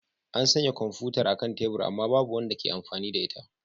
An sanya kwamfutar a kan tebur amma babu wanda ke amfani da ita.